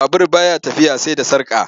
Babur ba ya tafiya sai da sarƙa.